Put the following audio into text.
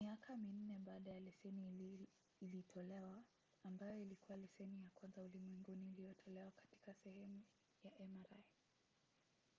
miaka minne baadaye leseni ilitolewa ambayo ilikuwa leseni ya kwanza ulimwenguni iliyotolewa katika sehemu ya mri